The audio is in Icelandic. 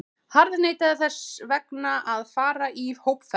harðneitaðir þess vegna að fara í hópferð!